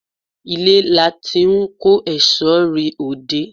Ilé láti n kó èsó rẹ òde